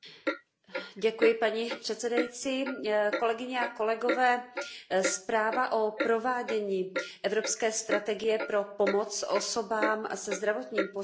Zpráva o provádění evropské strategie pro pomoc osobám se zdravotním postižením získala velkou podporu napříč politickým spektrem.